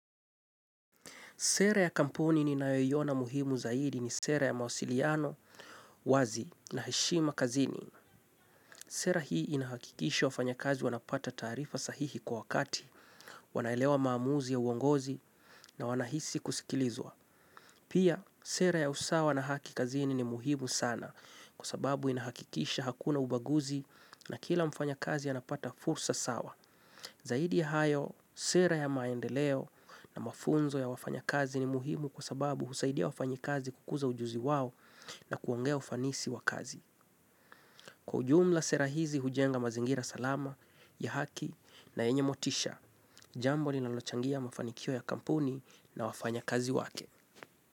Sera ya kampuni ni nayoyiona muhimu zaidi ni sera ya mawasiliano, wazi na heshima kazini. Sera hii, inahakikisha wafanyakazi wanapata taarifa sahihi kwa wakati, wanaelewa maamuzi ya uongozi na wanahisi kusikilizwa. Pia, sera ya usawa na haki kazini ni muhimu sana. Kwa sababu inahakikisha hakuna ubaguzi na kila mfanya kazi anapata fursa sawa. Zaidi ya hayo, sera ya maendeleo na mafunzo ya wafanyakazi ni muhimu kwa sababu husaidia wafanyikazi kukuza ujuzi wao na kuongea ufanisi wa kazi. Kwa ujumla, sera hizi hujenga mazingira salama ya haki na enye motisha, jambo ni lalochangia mafanikio ya Kampuni na wafanyakazi wake.